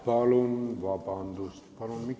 Palun vabandust!